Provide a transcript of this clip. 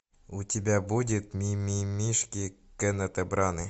у тебя будет мимимишки кеннета браны